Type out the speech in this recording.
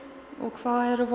hvað er að